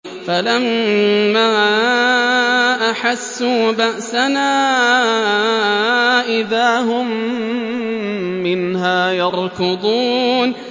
فَلَمَّا أَحَسُّوا بَأْسَنَا إِذَا هُم مِّنْهَا يَرْكُضُونَ